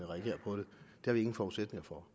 har vi ingen forudsætninger for